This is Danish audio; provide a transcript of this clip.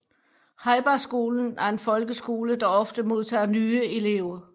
Heibergskolen er en folkeskole der ofte modtager nye elever